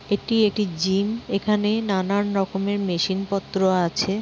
এটি একটি জিম এখানে নানান রকমের মেশিন পত্র আছে।